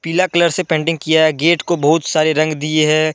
पीला कलर से पेंटिंग किया गेट को बहुत सारे रंग दिए है।